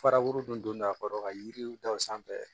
Faraburu dun a kɔrɔ ka yiriw da o sanfɛ